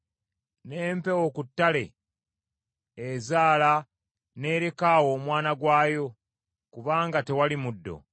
N’empeewo ku ttale ezaala n’ereka awo omwana gwayo kubanga tewali muddo.